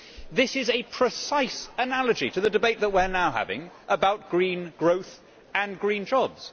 This is a precise analogy to the debate that we are now having about green growth and green jobs.